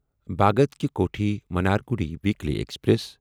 Bhagat Ki Kothi Mannargudi weekly express